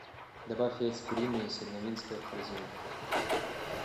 добавь яйца куриные синявинское в корзину